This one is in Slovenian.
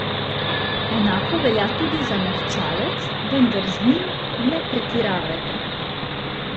Enako velja tudi za mehčalec, vendar z njim ne pretiravajte.